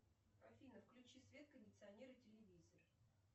афина включи свет кондиционер и телевизор